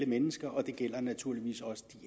mennesker og det gælder naturligvis også de